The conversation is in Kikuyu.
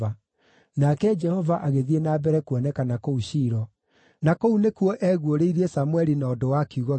Nake Jehova agĩthiĩ na mbere kuonekana kũu Shilo, na kũu nĩkuo eguũrĩirie kũrĩ Samũeli na ũndũ wa kiugo gĩake.